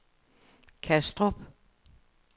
Kastrup